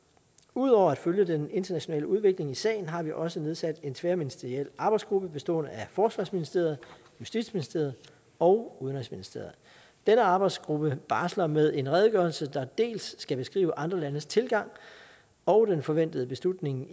ud over at følge den internationale udvikling i sagen har vi også nedsat en tværministeriel arbejdsgruppe bestående af forsvarsministeriet justitsministeriet og udenrigsministeriet denne arbejdsgruppe barsler med en redegørelse der dels skal beskrive andre landes tilgang og den forventede beslutning